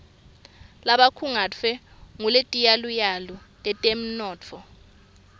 labakhungetfwe nguletiyaluyalu tetemnotfo